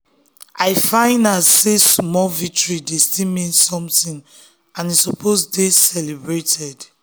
i find out sey small victory dey still mean something and e suppose dey dey celebrated.